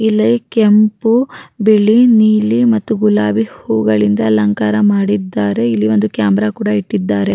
ಇಲ್ಲಿ ಕೆಂಪು ಬಿಳಿ ನೀಲಿ ಮತ್ತು ಗುಲಾಬಿ ಹೂವುಗಳಿಂದ ಅಲಂಕಾರ ಮಾಡಿದ್ದಾರೆ ಇಲ್ಲಿ ಒಂದು ಕ್ಯಾಮೆರಾ ಕೂಡ ಇಟ್ಟಿದಾರೆ.